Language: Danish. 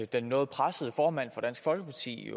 den noget pressede formand for dansk folkeparti